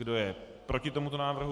Kdo je proti tomuto návrhu?